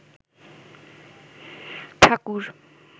ঠাকুর